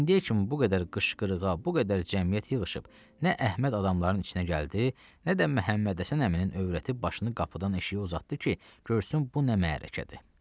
İndiyə kimi bu qədər qışqırığa, bu qədər cəmiyyət yığışıb, nə Əhməd adamların içinə gəldi, nə də Məhəmmədhəsən əminin övrəti başını qapıdan eşiyə uzatdı ki, görsün bu nə məhərəkədir.